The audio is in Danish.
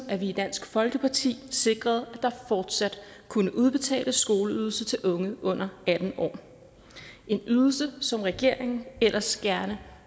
i dansk folkeparti sikrede at der fortsat kunne udbetales skoleydelse til unge under atten år en ydelse som regeringen ellers gerne